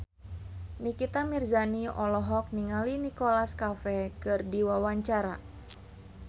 Nikita Mirzani olohok ningali Nicholas Cafe keur diwawancara